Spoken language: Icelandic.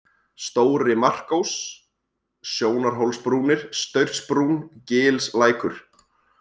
Stóri-Markós, Sjónarhólsbrúnir, Staursbrún, Gilslækur